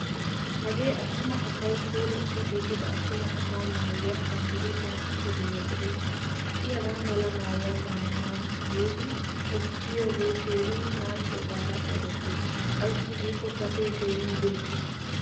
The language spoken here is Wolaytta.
Hagee attuma asawu puulattidi giigida attuma asaa maayuwaa ashangulutiyan kaqidoge de'ees. Hai hagaamala maayuwaa maayana giidi qopiyoge keehin naaciyogaara qoddetees. Aysi giiko gatee keehin birggiis.